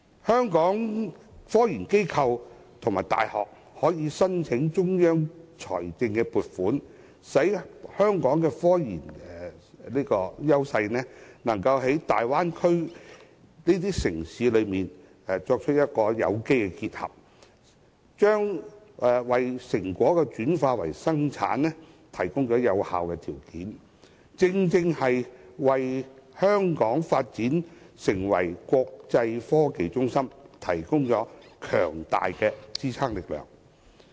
香港的科研機構和大學可申請中央財政撥款，令香港的科研優勢能與大灣區城市進行有機結合，為成果轉化為生產提供有效條件，為香港發展成為國際創科中心提供強大的支撐力量。